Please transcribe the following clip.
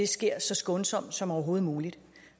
sker så skånsomt som overhovedet muligt